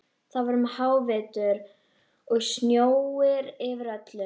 Það var um hávetur og snjór yfir öllu.